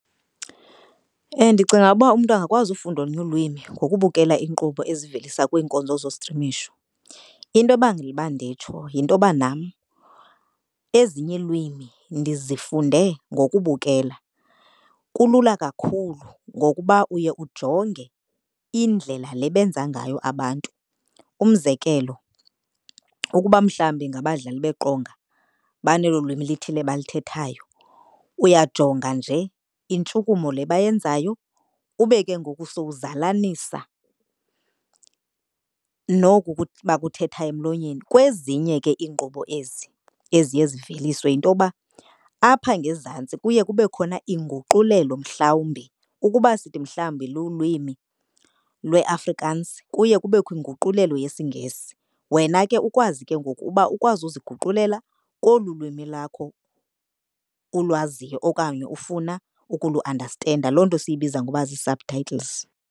Ndicinga uba umntu angakwazi ufunda olunye ulwimi ngokubukela iinkqubo eziveliswa kwiinkonzo zostrimisho. Into ebangela uba nditsho yintoba nam ezinye iilwimi ndizifunde ngokubukela. Kulula kakhulu ngokuba uye ujonge indlela le benza ngayo abantu. Umzekelo, ukuba mhlawumbi ngabadlali beqonga banelo lwimi lithile balithethayo uyajonga nje intshukumo le bayenzayo ube ke ngoku sowuzalanisa noku bakuthethayo emlonyeni. Kwezinye ke iinkqubo ezi eziye ziveliswe yinto yoba apha ngezantsi kuye kube khona inguqulelo mhlawumbi, ukuba sithi mhlawumbi lulwimi lweAfrikaans kuye kubekho inguqulelo yesiNgesi. Wena ke ukwazi ke ngoku uba ukwazi uziguqulela kolu lwimi lakho ulwaziyo okanye ufuna ukuluandastenda. Loo nto siyibiza ngoba zi-subtitles.